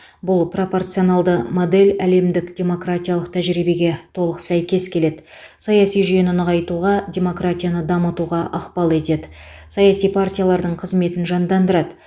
бұл пропорционалды модель әлемдік демократиялық тәжірибеге толық сәйкес келеді саяси жүйені нығайтуға демократияны дамытуға ықпал етеді саяси партиялардың қызметін жандандырады